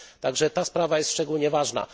Także ta sprawa jest szczególnie ważna.